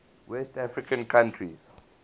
west african countries